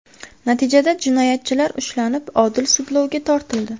Natijada jinoyatchilar ushlanib, odil sudlovga tortildi.